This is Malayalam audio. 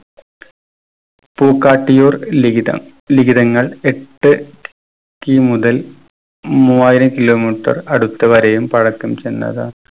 പൂക്കാട്ടിയൂർ ലിഖിതം ലിഖിതങ്ങൾ എട്ട് ki മുതൽ മൂവായിരം kilo metre അടുത്തുവരെയും പഴക്കം ചെന്നതാണ്.